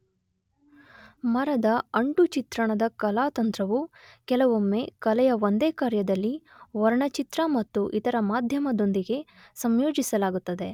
ಮರದ ಅಂಟು ಚಿತ್ರಣದ ಕಲಾತಂತ್ರವು ಕೆಲವೊಮ್ಮೆ ಕಲೆಯ ಒಂದೇ ಕಾರ್ಯದಲ್ಲಿ ವರ್ಣಚಿತ್ರ ಮತ್ತು ಇತರ ಮಾಧ್ಯಮದೊಂದಿಗೆ ಸಂಯೋಜಿಸಲಾಗುತ್ತದೆ.